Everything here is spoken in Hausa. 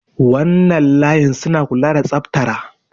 wannan layin suna kula da tsaftara